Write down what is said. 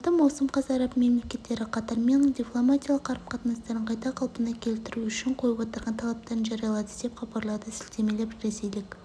алматы маусым қаз араб мемлекеттері қатармен дипломатиялық қарым-қатынастарын қайта қалпына келіту үшін қойып отырған талаптарын жариялады деп хабарлады ке сілтемелеп ресейлік